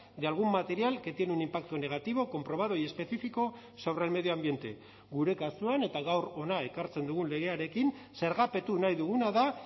de algún material que tiene un impacto negativo comprobado y específico sobre el medio ambiente gure kasuan eta gaur hona ekartzen dugun legearekin zergapetu nahi duguna da